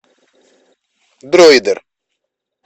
дроидер